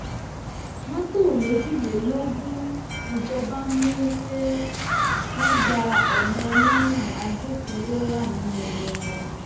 mọtò méjìlélógún níjọba mú pé wọn gba ọnà ọlọnà agbófinró wà nínú wọn